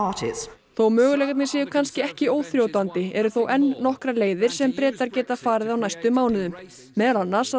þó möguleikarnir séu kannski ekki óþrjótandi eru þó enn nokkrar leiðir sem Bretar geta farið á næstu mánuðum meðal annars að